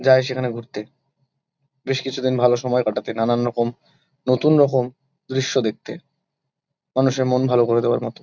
যায় সেখানে ঘুরতে বেশ কিছুদিন ভালো সময় কাটাতে। নানান রকম নতুন রকম দৃশ্য দেখতে। মানুষের মন ভালো করে দেয়ার মতো।